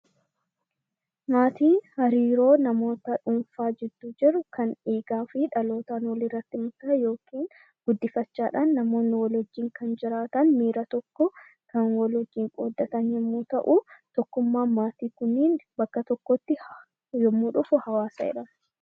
Maatiin hariiroo namoota dhuunfaa giddu jiru Kan dhiigaa fi dhaloota fi guddifachaadhaan namoonni miira tokkoon kan wajjin jiraatan, kan wal wajjin qooddatan yemmuu ta'uu, tokkummaan maatii Kun bakka tokkotti yemmuu dhufu hawaasa jedhama.